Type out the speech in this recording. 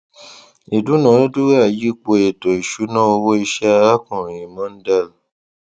ìdúnàádúràá yípo ètò ìṣúná owó iṣẹ arákùnrin mondal